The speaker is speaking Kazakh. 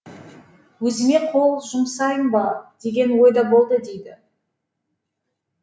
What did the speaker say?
өзіме қол жұмсайын ба деген ой да болды дейді